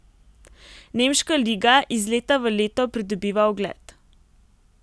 Nemška liga iz leta v leto pridobiva ugled.